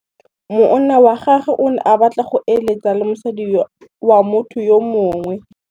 Monna wa gagwe o ne a batla go êlêtsa le mosadi wa motho yo mongwe.